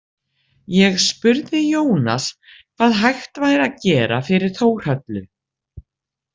Ég spurði Jónas hvað hægt væri að gera fyrir Þórhöllu.